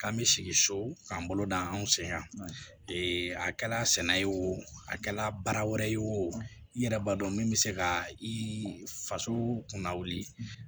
K'an bɛ sigi so k'an bolo da anw sen kan a kɛla sɛnɛ ye o a kɛla baara wɛrɛ ye o yɛrɛ b'a dɔn min bɛ se ka i faso kunna wuli